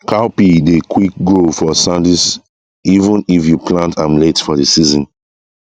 cowpea dey quick grow for sandy soil even if you plant am late for the season